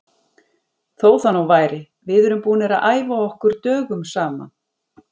Þó það nú væri, við erum búnir að æfa okkur dögum saman.